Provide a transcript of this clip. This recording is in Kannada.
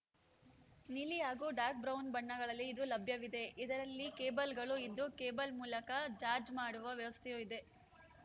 ನೀಲಿ ಹಾಗೂ ಡಾರ್ಕ್ಬ್ರೌನ್‌ ಬಣ್ಣಗಳಲ್ಲಿ ಇದು ಲಭ್ಯವಿದೆ ಇದರಲ್ಲಿ ಕೇಬಲ್‌ಗಳೂ ಇದ್ದು ಕೇಬಲ್‌ ಮೂಲಕ ಜಾರ್ಜ್ ಮಾಡುವ ವ್ಯವಸ್ಥೆಯೂ ಇದೆ